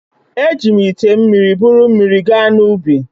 Eji m ite mmiri buru mmiri gaa n’ubi